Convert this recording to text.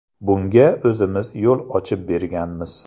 Bunga o‘zimiz yo‘l ochib berganmiz.